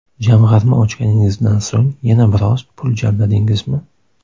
Jamg‘arma ochganingizdan so‘ng yana biroz pul jamladingizmi?